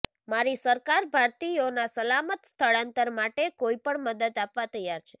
મારી સરકાર ભારતીયોના સલામત સ્થળાંતર માટે કોઈ પણ મદદ આપવા તૈયાર છે